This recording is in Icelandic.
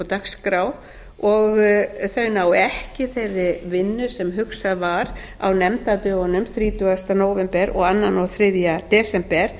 dagskrá og þau nái ekki þeirri vinnu sem hugsað var á nefndadögunum þrítugasta nóvember og öðrum og þriðja desember